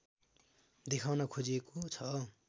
देखाउन खोजिएको छ